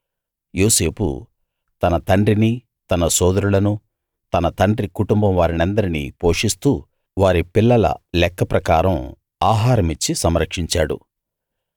యోసేపు తన తండ్రినీ తన సోదరులనూ తన తండ్రి కుటుంబం వారినందరినీ పోషిస్తూ వారి పిల్లల లెక్క ప్రకారం ఆహారమిచ్చి సంరక్షించాడు